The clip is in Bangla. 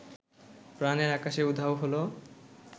প্রাণের আকাশে উধাও হলো